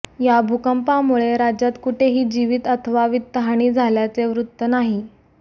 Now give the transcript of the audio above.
या भूकंपामुळे राज्यात कुठेही जिवीत अथवा वित्तहानी झाल्याचे वृत्त नाही